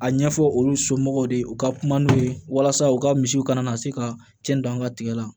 A ɲɛfɔ olu somɔgɔw de ye u ka kuma n'u ye walasa u ka misiw kana na se ka cɛn don an ka tigɛ la